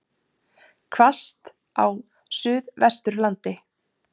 Hvasst á Suðvesturlandi